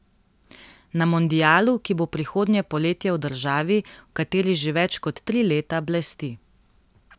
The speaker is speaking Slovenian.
Na mondialu, ki bo prihodnje poletje v državi, v kateri že več kot tri leta blesti.